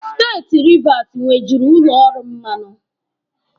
Steeti Rivas nwejuru ụlọ ọrụ mmanụ.